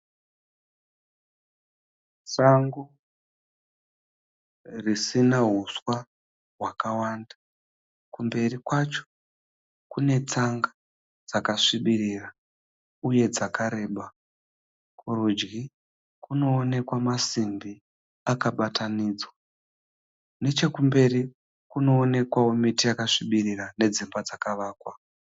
Sango risina huswa hwakawanda, kumberi kwacho kune tsanga dzaka svibirira uye dzakareba. Kurudyi kunoonekwa masimbi akabatanidzwa, nekuchemberi kunoonekwawo miti yakasvibirira ne dzimba dzakavakwa.